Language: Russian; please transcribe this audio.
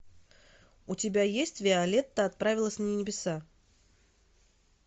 у тебя есть виолетта отправилась на небеса